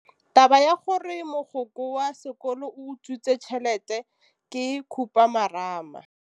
Taba ya gore mogokgo wa sekolo o utswitse tšhelete ke khupamarama.